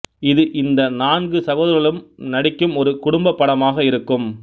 இது இந்த நான்கு சகோதரர்களும் நடிக்கும் ஒரு குடும்பப் படமாக இருக்கும்